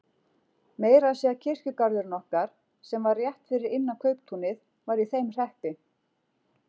Meira að segja kirkjugarðurinn okkar, sem var rétt fyrir innan kauptúnið, var í þeim hreppi.